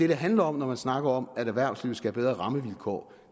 handler om når man snakker om at erhvervslivet skal have bedre rammevilkår